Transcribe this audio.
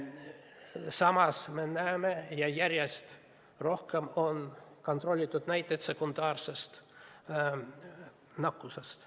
Samas me näeme järjest rohkem kontrollitud näiteid sekundaarsest nakatumisest.